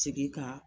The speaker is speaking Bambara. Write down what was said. Segin ka